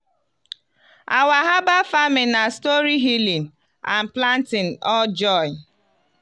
our herbal farming na story healing and planting all join.